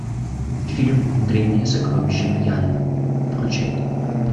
фильм древние сокровища мьянмы включай